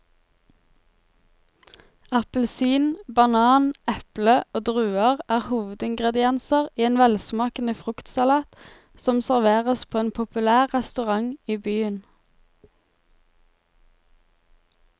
Appelsin, banan, eple og druer er hovedingredienser i en velsmakende fruktsalat som serveres på en populær restaurant i byen.